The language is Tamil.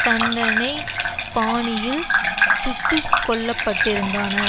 தண்டனை பாணியில் சுட்டுக்கொல்லப்பட்டிருந்தானர்